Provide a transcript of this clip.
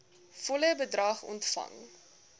volle bedrag ontvang